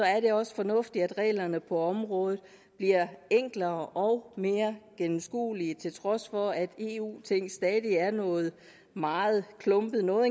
er det også fornuftigt at reglerne på området bliver enklere og mere gennemskuelige til trods for at eu ting i stadig er noget meget klumpet noget